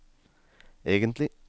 egentlig